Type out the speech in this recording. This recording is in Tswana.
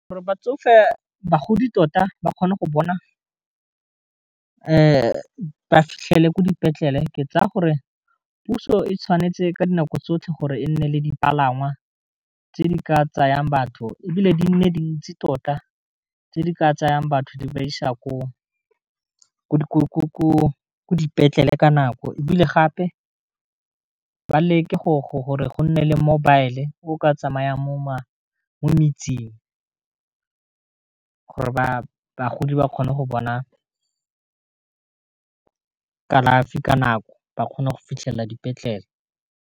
Gore bagodi tota ba kgone go bona ba fitlhele ko dipetlele, ke tsaya gore puso e tshwanetse ka dinako tsotlhe gore e nne le dipalangwa tse di ka tsayang batho e bile di nne dintsi tota, tse di ka tsayang batho di ba isa ko dipetlele ka nako, e bile gape ba le ke gore go nne le mobile-e o ka tsamayang mo metseng gore ba bagodi ba kgone go bona ka kalafi ka nako ba kgone go fitlhelela dipetlele.